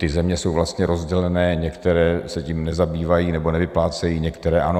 Ty země jsou vlastně rozdělené, některé se tím nezabývají nebo nevyplácejí, některé ano.